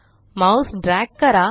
mouse drag करा